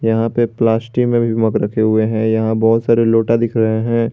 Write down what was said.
यहां पे प्लास्टिक में भी मग रखे हुए हैं यहां बहुत सारे लोटा दिख रहे हैं।